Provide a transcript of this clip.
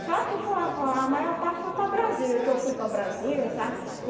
Só que foi ah a maior parte foi para Brasília, que eu fui para Brasília, sabe?